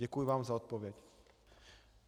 Děkuji vám za odpověď.